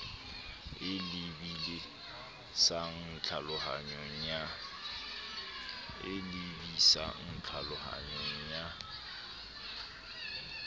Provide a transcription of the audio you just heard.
e lebi sang tlhalohanyong ya